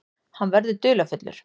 Hann verður dularfullur.